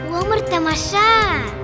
өмір тамаша